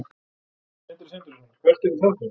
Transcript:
Sindri Sindrason: Hvert yrði það þá?